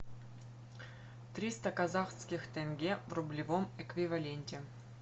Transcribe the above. триста казахских тенге в рублевом эквиваленте